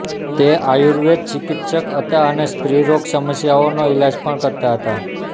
તે આયુર્વેદ ચિકિત્સક હતાં અને સ્ત્રીરોગ સમસ્યાઓનો ઇલાજ પણ કરતાં હતાં